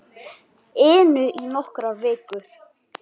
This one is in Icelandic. inu í nokkrar vikur.